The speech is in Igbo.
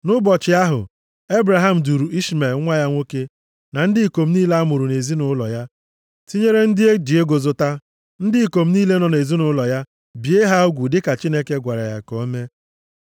Nʼụbọchị ahụ, Ebraham duuru Ishmel nwa ya nwoke, na ndị ikom niile a mụrụ nʼezinaụlọ ya, tinyere ndị e ji ego zụta, ndị ikom niile nọ nʼezinaụlọ ya, bie ha ugwu dịka Chineke gwara ya ka ọ mee.